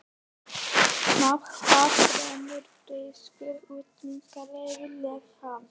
Með hvaða þremur þýsku úrvalsdeildarliðum lék hann?